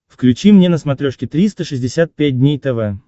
включи мне на смотрешке триста шестьдесят пять дней тв